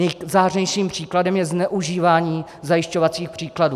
Nejzářnějším příkladem je zneužívání zajišťovacích příkazů.